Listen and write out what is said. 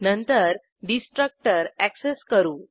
नंतर destructor access करू